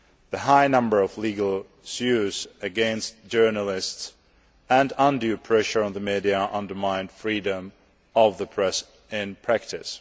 The high number of legal suits against journalists and undue pressure on the media undermine freedom of the press in practice.